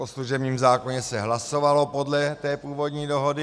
O služebním zákoně se hlasovalo podle té původní dohody.